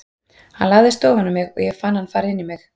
Hann lagðist ofan á mig og ég fann hann fara inn í mig.